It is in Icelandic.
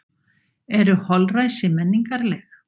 Eru holræsi menningarleg?